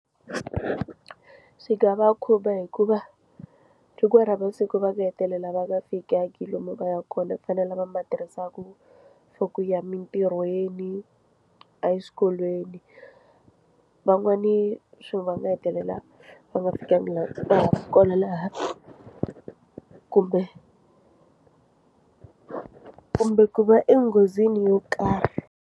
Swi nga va khumba hikuva chukiwa ra masiku va nga hetelela va nga fikangi lomu va yaka kona ku fanele lava ma tirhisaka for ku ya mintirhweni eswikolweni van'wani swi va nga hetelela va nga fikangi va laha kumbe kumbe ku va enghozini yo karhi.